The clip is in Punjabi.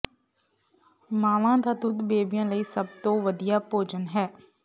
ਮਾਵਾਂ ਦਾ ਦੁੱਧ ਬੇਬੀਆਂ ਲਈ ਸਭ ਤੋਂ ਵਧੀਆ ਭੋਜਨ ਹੈ